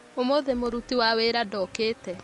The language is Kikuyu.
Ũmũthĩ mũruti wa wĩra ndokĩte